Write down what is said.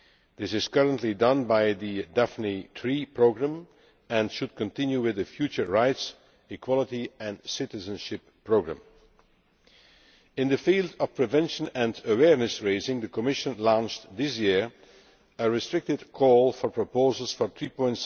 This is currently done by the Daphne III Programme and should continue with the future rights, equality and citizenship programme. In the field of prevention and awareness raising, the Commission launched this year a restricted call for proposals for EUR